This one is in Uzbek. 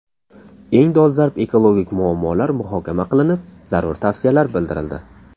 Eng dolzarb ekologik muammolar muhokama qilinib, zarur tavsiyalar bildirildi.